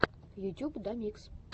ютюб домикс